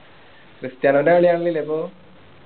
ക്രിസ്റ്റിയാനൊൻ്റെ കളി കാണണില്ലേ ഇപ്പൊ